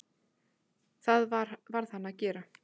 Það varð hann að gera.